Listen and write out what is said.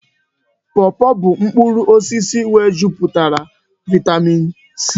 Pọpọ bụ mkpụrụ osisi nwejupụtara vaịtamịn C.